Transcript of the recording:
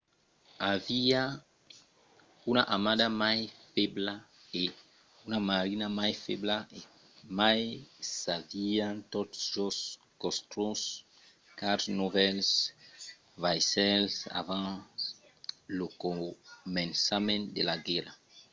aviá una armada mai febla e una marina mai febla e mai s'avián tot just construch quatre novèls vaissèls abans lo començament de la guèrra